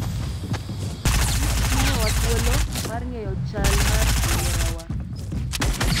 Kich miyowa thuolo mar ng'eyo chal mar alworawa.